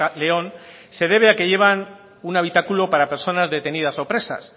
león se debe a que llevan un habitáculo para personas detenidas o presas